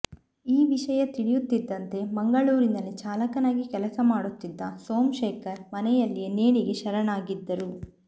ಈ ವಿಷಯ ತಿಳಿಯುತ್ತಿದ್ದಂತೆ ಮಂಗಳೂರಿನಲ್ಲಿಚಾಲಕನಾಗಿ ಕೆಲಸ ಮಾಡುತ್ತಿದ್ದ ಸೋಮಶೇಖರ್ ಮನೆಯಲ್ಲಿಯೇ ನೇಣಿಗೆ ಶರಣಾಗಿದ್ದರು